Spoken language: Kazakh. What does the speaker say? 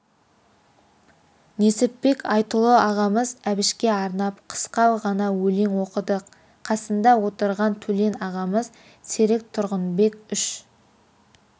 несіпбек айтұлы ағамыз әбішке арнап қысқа ғана өлең оқыды қасында отырған төлен ағамыз серік тұрғынбек үш